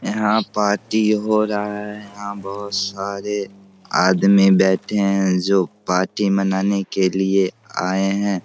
यहां पार्टी हो रहा है यहां बहुत सारे आदमी बैठे हैं जो पार्टी मनाने के लिए आए है।